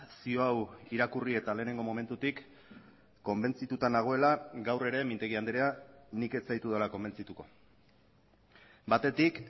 zio hau irakurri eta lehenengo momentutik konbentzituta nagoela gaur ere mintegi andrea nik ez zaitudala konbentzituko batetik